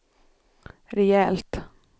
rejält